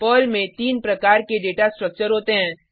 Perl में 3 प्रकार के डेटा स्ट्रक्चर होते हैं